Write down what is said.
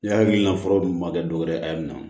Ne hakilina furaw dun ma kɛ dɔwɛrɛ ye a ye nin na